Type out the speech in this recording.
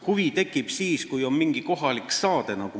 Huvi tekib siis, kui on mingi kohalik saade.